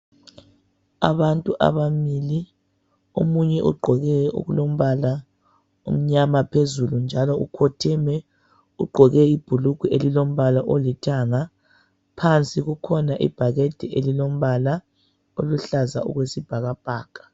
Abantu ababili omunye ugqoke okulombala omnyama phezulu njalo ukhotheme ugqoke ibhulugwe elilombala olithanga, phansi kukhona ibhakede elilombala oluhlaza okwesibhakabhaka.